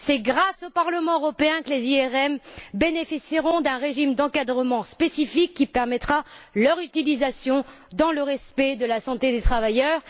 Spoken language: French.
C'est grâce au Parlement européen que les IRM bénéficieront d'un régime d'encadrement spécifique qui permettra leur utilisation dans le respect de la santé des travailleurs.